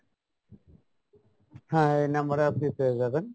হ্যাঁ এই number এ আপনি পেয়ে যাবেন।